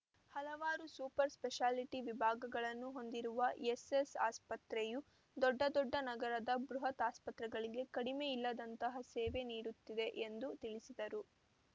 ಹಲವಾರು super speciality ವಿಭಾಗಗಳನ್ನು ಹೊಂದಿರುವ ಎಸ್‌ಎಸ್‌ ಆಸ್ಪತ್ರೆಯು ದೊಡ್ಡ ದೊಡ್ಡ ನಗರದ ಬೃಹತ ಆಸ್ಪತ್ರೆಗಳಿಗೆ ಕಡಿಮೆ ಇಲ್ಲದಂತಹ ಸೇವೆ ನೀಡುತ್ತಿದೆ ಎಂದು ತಿಳಿಸಿದರು